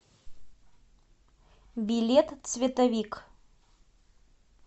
билет цветовик